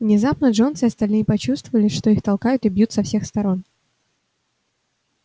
внезапно джонс и остальные почувствовали что их толкают и бьют со всех сторон